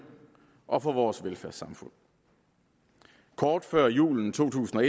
og for vores velfærdssamfund kort før julen to tusind og